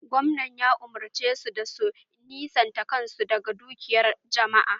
Gwamnan ya umurce su da su nisanta kan su daga dukiyan jama'a!